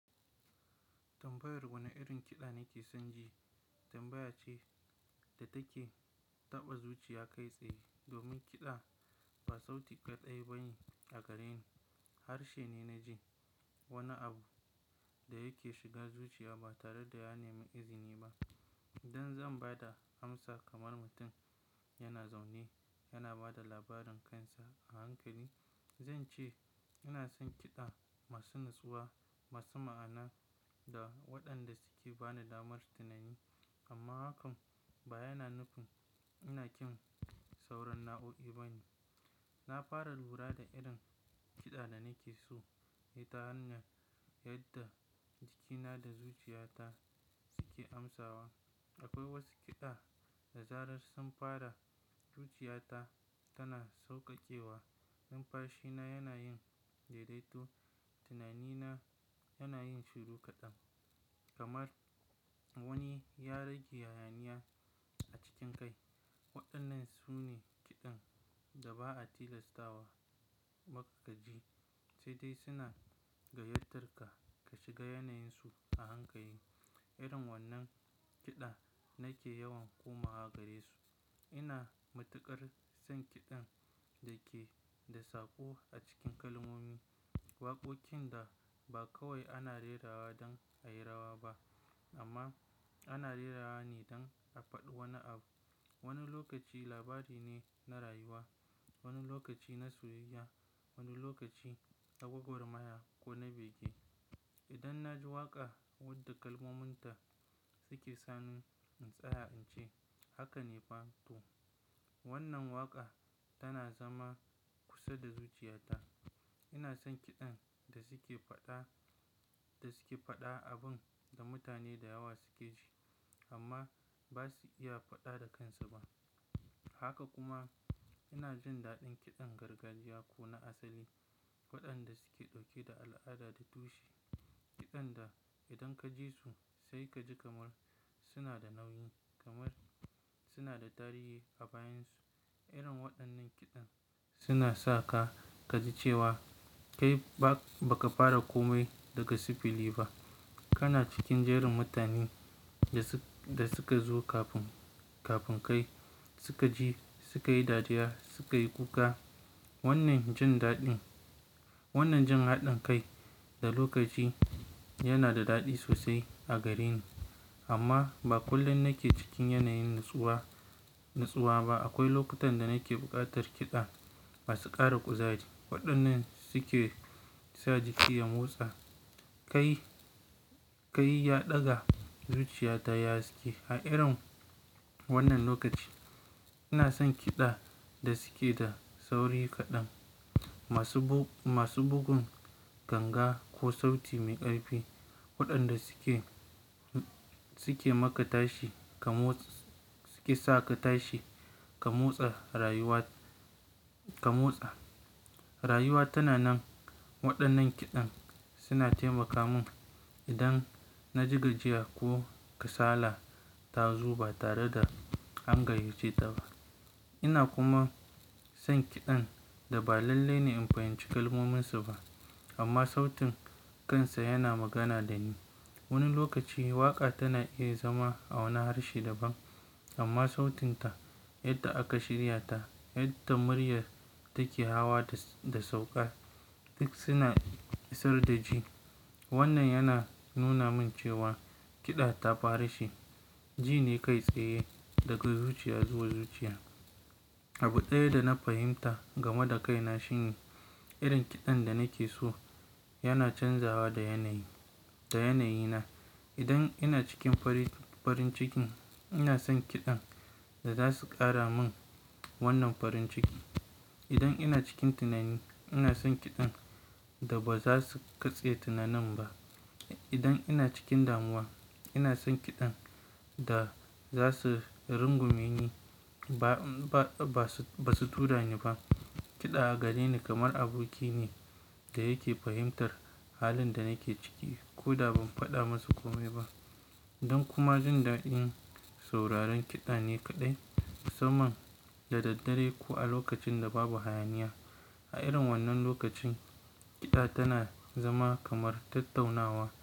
Tambayar wane irin kiɗa nake son ji, tambaya ce da take taɓa zuciya kai tsaye. Domin kiɗa ba sauti ƙaɗai ba ne a gareni, harshe ne na ji. Wani abu da yake shiga zuciya ba tare da ya nemi izini ba. In zan bada amsar kaman mutum yana zaune yana bada labarin kansa a hankali zance ina san kida masu natsuwa masu mana'ana da wadanda suke bani damar tunani amma hakan baya na nufin ina ƙim sauran na'o'i ba ne. Na fara lura da irin kiɗa da nake so ne ta hanyar yadda jikina da zuciyata suke amsawa. Akwai wasu kiɗa da zarar sun fara, zuciyata tana sauƙaƙewa, numfashina yana yin daidaito, tunanina yana yin shiru kaɗan, kamar wani ya rage hayaniya a cikin kai. Waɗannan su ne kiɗan da ba a tilastawa makagaji, sai dai suna gayyatar ka ka shiga yanayinsu a hankai. Irin wannan kiɗa nake yawan komawa gare su. Ina matuƙar son kiɗan da ke da sako a cikin kalmomi, waƙoƙin da ba kawai ana rera wa don ayirawa ba amma ana rera wa ne don a faɗi wani abu. Wani lokaci labari ne na rayuwa, wani lokaci na soyayya, wani lokaci nagwagwarmaya ko na bege. Idan na ji waƙa wadda kalmominta suke sani in tsaya, in ce, "Haka ne fa to." Wannan waƙa tana zama kusa da zuciyata. Ina son kiɗan da suke faɗa, da suke faɗa abin da mutane da yawa suke ji amma ba su iya faɗa da kansu ba. Haka kuma ina jin daɗin kiɗan gargajiya ko na asali, waɗanda suke ɗauke da al'ada da tushe. Kidan da idan ka jisu sai kaji kamar suna da nauyi kamar suna da tarihi a bayan su Irin waɗannan kiɗan suna sa ka, ka ji cewa kai ba, ba ka fara komai daga sifili ba. Kana cikin jerin mutanen da su, da suka zo kafin, kafin kai. Suka ji, suka yi dariya, suka yi kuka. Wannan jin daɗin, wannan jin haɗin kai da lokaci yana da daɗi sosai a gareni. Amma ba kullum nake cikin yanayin natsuwa, natsuwa ba. Akwai lokutan da nake bukatar kida masu kara kuzari wadannan suke sa jiki ya motsa kai kai ya daga zuciya ta yi haske. A irin wannan lokaci ina son kiɗa da suke da sauri kaɗan, masu bug, masu bugun ganga ko sauti mai ƙarfi, waɗanda suke, suke maka tashi kamotsa suke saka tashi ka motsa a rayuwa ka motsa. Rayuwa tana nan, waɗannan kiɗan suna taimaka mun idan na ji gajiya ko kasala ta zo ba tare da angayyace ta ba. Ina kuma son kiɗan da ba lalle ne in fahimci kalmominsa ba amma sautin kansa yana magana da ni. Wani lokaci waƙa tana iya zama a wani harshe daban amma sautinta, yadda aka shirya ta, yadda murya take hawa da, da sauƙa duk suna isar da ji. Wannan yana nuna min cewa kiɗa ta fara shi, ji ne kai tsaye daga zuciya zuwa zuciya. Abu ɗaya da na fahimta game da kaina shine. Irin kidan da nake so yana canzawa da yana yi da yanayina idan ina cikin farin, farin cikin ina son kiɗan da za su ƙara min wannan farin ciki. Idan ina cikin tunani ina son kiɗan da ba za su katse tunanin ba. Idan ina cikin danuwa ina san kidan da za su rungume ni ba ba ba basu turani ba kiɗa a gare ni kamar aboki ne da yake fahimtar halin da nake ciki ko da ban faɗa masa komai ba. Don kuma jin daɗin sauraron kiɗa ne kaɗai, musamman da daddare ko a lokacin da babu hayaniya. A irin wannan lokacin kiɗa tana zama kamar tattaunawa.